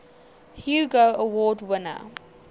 hugo award winner